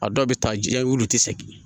A dɔw bɛ taa ja olu ti se